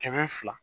Kɛmɛ fila